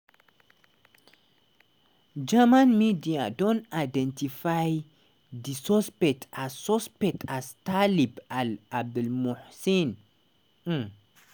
german media don identify di suspect as suspect as taleb al-abdulmohsen. um